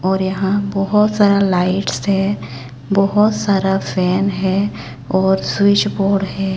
और यहां बहोत सारा लाइट्स है बहोत सारा फैन है और स्विच बोर्ड है।